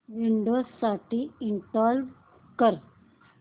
Windows साठी install कर